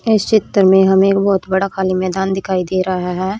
इस चित्र मे हमे एक बहोत बड़ा खाली मैदान दिखाई दे रहा है।